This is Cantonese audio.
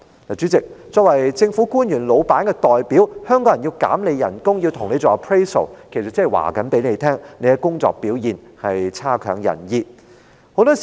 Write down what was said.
主席，作為政府官員老闆的代表，議員代表香港人要削減他的薪酬，要跟他做 appraisal， 其實是要告訴他，他的工作表現差劣。